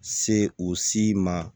Se o si ma